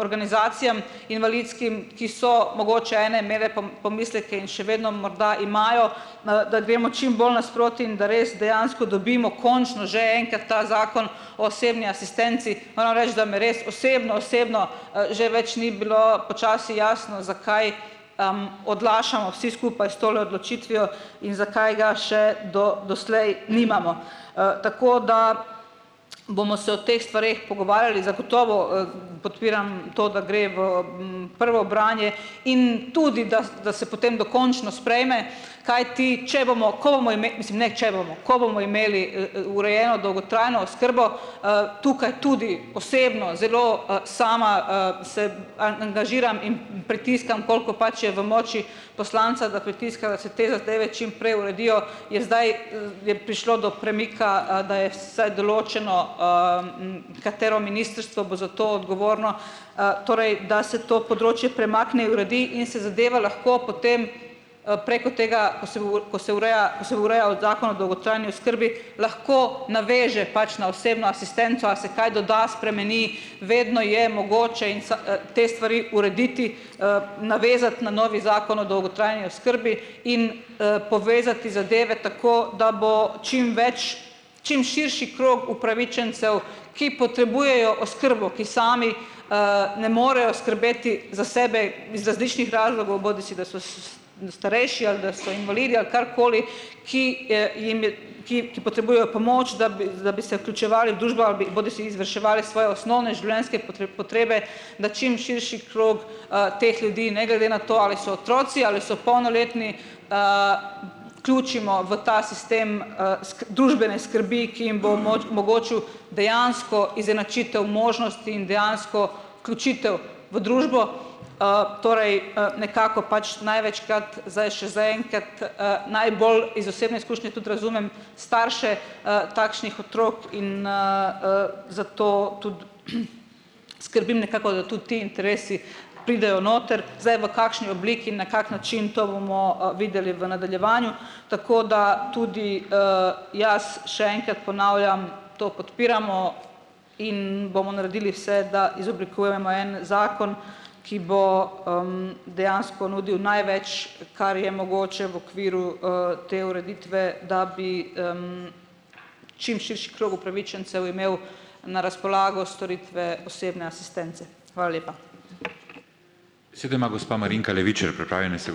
organizacijam invalidskim, ki so mogoče ene imele pomisleke in še vedno morda imajo, da gremo čim bolj nasproti in da res dejansko dobimo končno že enkrat ta Zakon o osebni asistenci. Moram reči, da mi res osebno osebno, že več ni bilo počasi jasno, zakaj, odlašamo vsi skupaj s tole odločitvijo in zakaj ga še do doslej nimamo. tako da bomo se o teh stvareh pogovarjali. Zagotovo, podpiram to, da gre v, prvo branje in tudi daz da se potem dokončno sprejme. Kajti če bomo, ko bomo mislim neki, če bomo, ko bomo imeli, urejeno dolgotrajno oskrbo, tukaj tudi osebno zelo, sama, sebi angažiram in, pritiskam, koliko pač je v moči poslanca, da pritiska, da se te zadeve čim prej uredijo, je zdaj, je prišlo do premika, da je vsaj določeno, katero ministrstvo bo za to odgovorno. torej, da se to področje premakne in se zadeva lahko potem, preko tega, ko se ureja, ko se urejal Zakon o dolgotrajni oskrbi, lahko naveže pač na osebno asistenco, a se kaj doda, spremeni, vedno je mogoče in te stvari urediti, navezati na novi Zakon o dolgotrajni oskrbi in, povezati zadeve tako, da bo čim več, čim širši krog upravičencev, ki potrebujejo oskrbo, ki sami, ne morejo skrbeti za sebe iz različnih razlogov, bodisi da so starejši ali da so invalidi ali karkoli, ki ki ki potrebujejo pomoč, da bi z bi se vključevali v družbo ali bi bodisi izvrševali svoje osnovne življenjske potrebe, da čim širši krog, teh ljudi, ne glede na to, ali so otroci ali so polnoletni, vključimo v ta sistem, družbene skrbi, ki jim bo mogočil dejansko izenačitev možnosti in dejansko vključitev v družbo. torej, nekako pač največkrat, zdaj še zaenkrat, najbolj iz osebne izkušnje tudi razumem starše, takšnih otrok in, zato tudi, skrbim nekako, da to ti interesi pridejo noter. Zdaj, v kakšni obliki in na kak način, to bomo, videli v nadaljevanju. Tako da tudi, jaz še enkrat ponavljam, to podpiramo in bomo naredili vse, da izoblikujemo en zakon, ki bo, dejansko nudil največ, kar je mogoče v okviru, te ureditve, da bi, čim krog upravičencev imel na razpolago storitve osebne asistence. Hvala lepa.